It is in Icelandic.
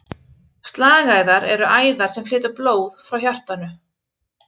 Slagæðar eru æðar sem flytja blóð frá hjartanu.